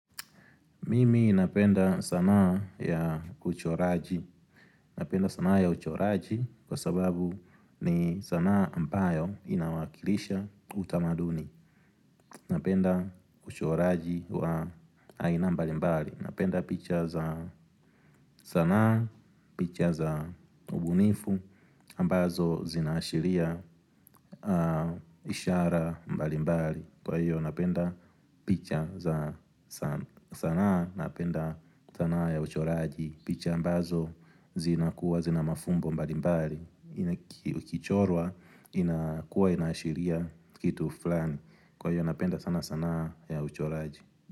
Mimi napenda sanaa ya uchoraji Napenda sanaa ya uchoraji kwa sababu ni sanaa ambayo inawakilisha utamaduni Napenda uchoraji wa aina mbalimbali Napenda picha za sanaa, picha za ubunifu ambazo zinaashiria ishara mbalimbali Kwa hiyo napenda picha za sanaa napenda sanaa ya uchoraji picha ambazo zina kuwa zina mafumbo mbali mbali Kichorwa inakuwa inaashiria kitu fulani Kwa hiyo napenda sana sanaa ya uchoraji.